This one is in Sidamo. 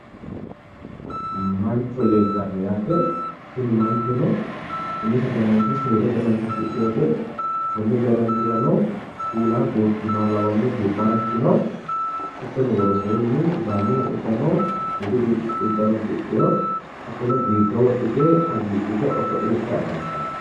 Mancho leeltanno yaate tini manchono umise danacho seeda danacho afidheyoote konni danachirano kuula buurtinoha lawanno duu'mara ikkino hattono woroseenni sidaamu uddano budu uddano uddidheyo hattono diigga wodhite hagiidhite oso'litayi afantanno